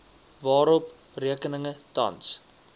waarop rekeninge tans